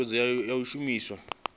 ii thuthuwedzo ya u shumiswa